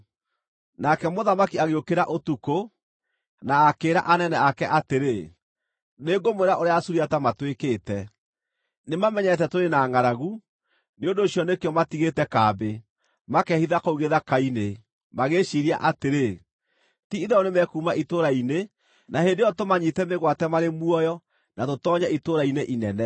Nake mũthamaki agĩũkĩra ũtukũ, na akĩĩra anene ake atĩrĩ, “Nĩngũmwĩra ũrĩa Asuriata matwĩkĩte. Nĩmamenyete tũrĩ na ngʼaragu, nĩ ũndũ ũcio nĩkĩo matigĩte kambĩ, makeehitha kũu gĩthaka-inĩ, magĩĩciiria atĩrĩ, ‘Ti-itherũ nĩmekuuma itũũra-inĩ na hĩndĩ ĩyo tũmanyiite mĩgwate marĩ muoyo na tũtoonye itũũra-inĩ inene.’ ”